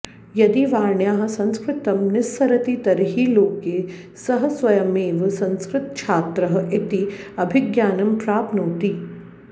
यदि वाण्याः संस्कृतं निस्सरति तर्हि लोके सः स्वयमेव संस्कृतच्छात्रः इति अभिज्ञानं प्राप्नोति